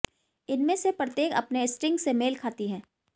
इनमें से प्रत्येक अपने स्ट्रिंग से मेल खाती है